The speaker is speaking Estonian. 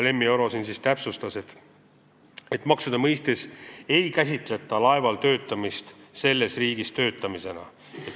Lemmi Oro täpsustas, et maksude mõistes ei käsitleta laeval töötamist selles riigis töötamisena.